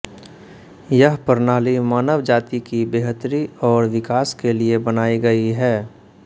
यह प्रणाली मानव जाति की बेहतरी और विकास के लिए बनाई गई है